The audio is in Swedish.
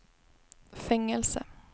fängelse